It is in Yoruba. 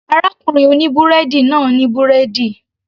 Arákùnrin oní búrẹ́dì náà ní búrẹ́dì